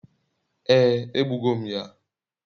ee, egbugo m ya